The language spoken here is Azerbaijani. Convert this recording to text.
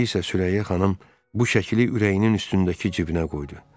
İndi isə Sürəyya xanım bu şəkili ürəyinin üstündəki cibinə qoydu.